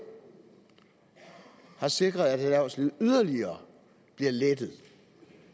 har sikret at erhvervslivet yderligere bliver lettet